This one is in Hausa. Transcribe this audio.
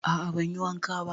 A a ban yi wanka ba.